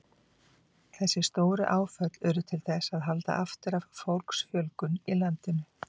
Lifrin sér um efnaskipti kolvetna, fitu og prótína.